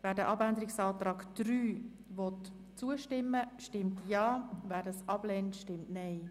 Wer den Abänderungsantrag annehmen will, stimmt Ja, wer diesen ablehnt, stimmt Nein.